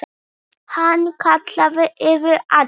Hann kallaði yfir alla.